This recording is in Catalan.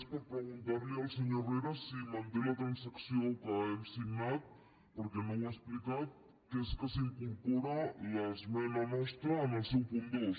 és per preguntar li al senyor herrera si manté la transacció que hem signat perquè no ho ha explicat que és que s’incorpora l’esmena nostra en el seu punt dos